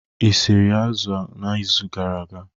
Ị siri azụ n'izu gara aga?